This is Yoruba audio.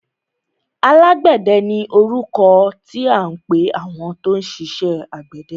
Alágbẹ̀dẹ ni orúkọ tí à ń pẹ àwọn tó ń ṣiṣẹ àgbẹ̀dẹ.